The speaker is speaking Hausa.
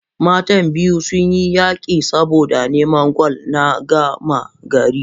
matan biyu sun yi yaƙi saboda naman gwal na gama-gari